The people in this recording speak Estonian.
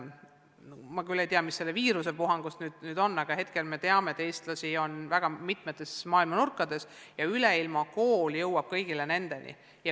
Ma küll ei tea, mis selles viirusepuhangus nüüd edasi saab, aga me teame, et eestlasi on praegu väga mitmetes maailma nurkades ja Üleilmakool jõuab nende kõigini.